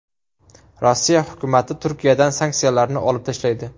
Rossiya hukumati Turkiyadan sanksiyalarni olib tashlaydi .